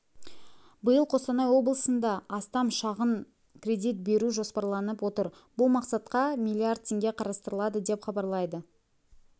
биыл қостанай облысында астам шағын кредит беру жоспарланып отыр бұл мақсатқа миллиард теңге қарастырылды деп хабарлайды